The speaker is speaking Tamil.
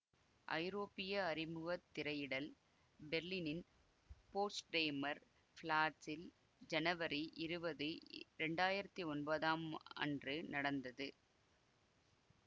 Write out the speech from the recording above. ஐரோப்பிய அறிமுகத் திரையிடல் பெர்லினின் போட்ஸ்டேமெர் பிளாட்ஸில் ஜனவரி இருவது இரண்டாயிரத்தி ஒன்பதாம் அன்று நடந்தது